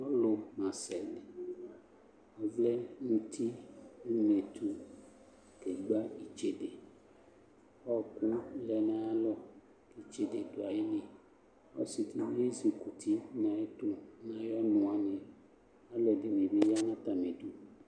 Ɔlu masɛ di Ɔvlɛ nuti nʋ unɛtu, kegba itsedeƆɔkʋ lɛ nayalɔ Itsede dʋ ayiliƆsidibi ezukuti nayɛtu nayɔnu wani Ɔludini bi ya natamidu